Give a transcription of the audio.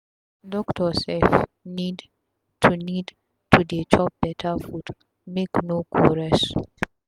doctor sef need to need to dey chop beta food make no go sick